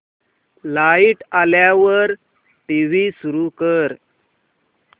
light आल्यावर TV सुरू कर